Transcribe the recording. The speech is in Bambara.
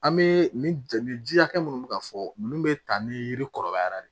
An bɛ nin ji hakɛ minnu bɛ ka fɔ ninnu bɛ ta ni yiri kɔrɔbayara de